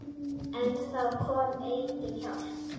En það kom engin hjálp.